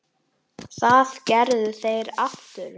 Það gerðu þeir aftur nú.